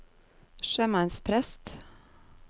sjømannsprest